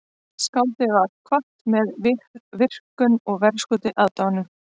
Skáldið var kvatt með virktum og verðskuldaðri aðdáun